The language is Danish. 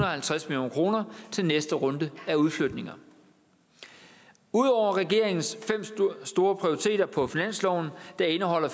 og halvtreds million kroner til næste runde af udflytninger ud over regeringens fem store prioriteter på finansloven indeholder